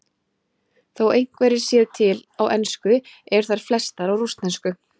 Þó einhverjar séu til á ensku eru þær flestar á rússnesku.